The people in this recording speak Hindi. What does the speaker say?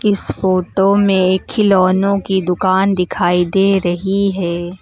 इस फोटो में खिलौनों की दुकान दिखाई दे रही है।